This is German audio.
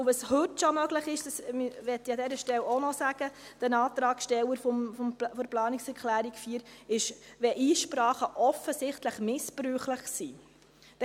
Es ist heute schon möglich, Kosten aufzuerlegen – dies möchte ich den Antragsstellern der Planungserklärung 4 an dieser Stelle auch noch sagen –, nämlich dann, wenn Einsprachen offensichtlich missbräuchlich sind.